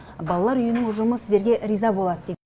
балалар үйінің ұжымы сіздерге риза болады деп